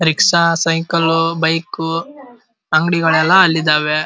Rickshaw cycle bike ಅಂಗಡಿಗಳು ಎಲ್ಲ ಅಲ್ಲಿದ್ದಾವೆ.